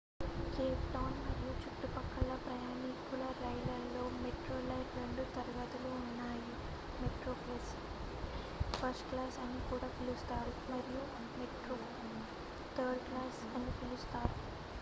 Cape Town మరియు చుట్టుపక్కల ప్రయాణికుల రైళ్ళలో మెట్రోరైల్ రెండు తరగతులు ఉన్నాయి మెట్రోప్లస్ ఫస్ట్ క్లాస్ అని కూడా పిలుస్తారు మరియు మెట్రో థర్డ్ క్లాస్ అని పిలుస్తారు